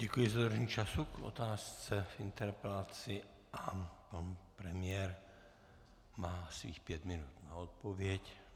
Děkuji za dodržení času k otázce v interpelaci a pan premiér má svých pět minut na odpověď.